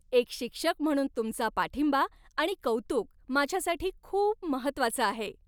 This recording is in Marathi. एक शिक्षक म्हणून तुमचा पाठिंबा आणि कौतुक माझ्यासाठी खूप महत्त्वाचं आहे.